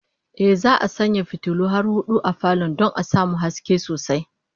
Ehh, za'a sanya fitulu har hudu a falon don a samu haske sosai